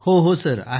होय सर